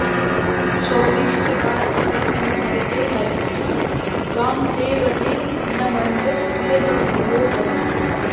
शौरिश्च पाति खलु संहरते हरस्तु त्वां सेवते न मनुजस्त्विह दुर्भगोऽसौ